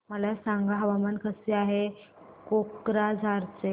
मला सांगा हवामान कसे आहे कोक्राझार चे